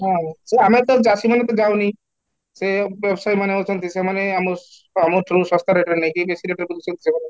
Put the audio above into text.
ହଁ, ସେ ଆମେ ତ ଜାତି ମାନେ ତ ଯାଉନି, ସେ ଏବେ ସେମାନେ ଅଛନ୍ତି ସେମାନେ ଆମ ଆମ through ଶସ୍ତା rate ରେ ନେଇକି ବେଶି rate ରେ ବିକୁଛନ୍ତି ସେମାନେ